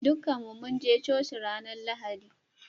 Dukan mu mun je coci ranan Lahadi.